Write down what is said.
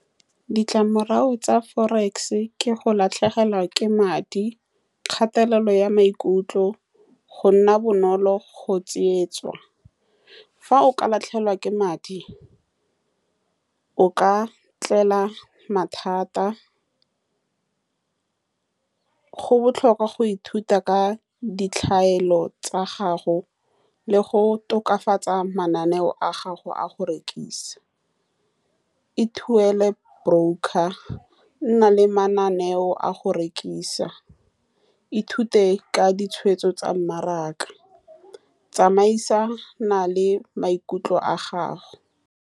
Ditlamorago tsa forex ke go latlhegelwa ke madi, kgatelelo ya maikutlo, go nna bonolo go tsietswa. Fa o ka latlhegelwa ke madi, o ka tlelwa ke mathata. Go botlhokwa go ithuta ka ditlhaelo tsa gago le go tokafatsa mananeo a gago a go rekisa. Ithuele broker, nna le mananeo a go rekisa, ithute ka ditshwetso tsa mmaraka, tsamaisa na le maikutlo a gago.